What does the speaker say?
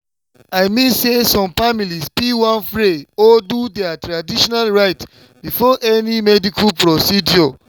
i mean say some families fit wan pray or do their traditional rites before any medical procedure.